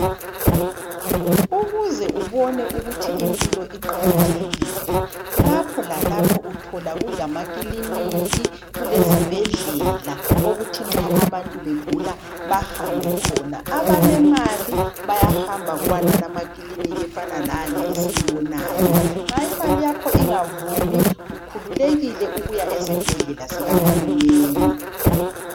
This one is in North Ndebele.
Ukuze ubone ukuthi impilo iqakathekile, lapho lalapho uthola kulamakiliniki, kulezibhedlela okuthi nxa abantu begula bahambe khona. Abalemali bayahamba kuwonalawa amakilinika efana lale esiyibonayo. Nxa imali yakho ingavumi ukhululekile ukuya esibhedlela sikaHulumeni.